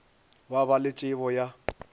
ba ba le tšebo ya